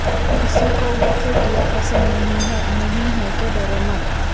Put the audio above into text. کسی کو وہ فٹ یا پسند نہیں ہے نہیں ہے کہ ڈرو مت